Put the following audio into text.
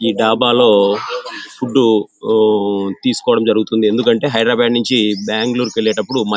ఈ డాబాలో ఫుడ్ తీసుకోవడం జరుగుతుంది. ఎందుకంటె హైదరాబాద్ నించి బెంగళూరుకు వెళ్ళేటప్పుడు మ --